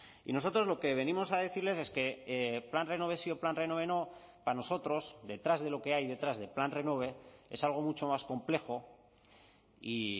y nosotros lo que venimos a decirles es que plan renove sí o plan renove no para nosotros detrás de lo que hay detrás del plan renove es algo mucho más complejo y